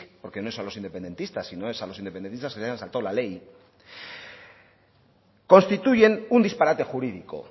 porque no es a los independentistas sino a los independentistas que se habían saltado la ley constituyen un disparate jurídico